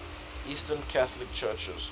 eastern catholic churches